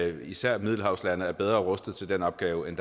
især middelhavslande er bedre rustet til den opgave end